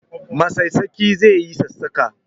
Masassaƙi zai yi sassaƙa